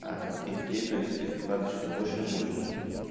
аа и ты то есть вкладываешь все больше и больше